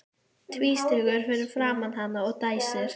Þakka þér vinsemdina að upplýsa íslensk yfirvöld.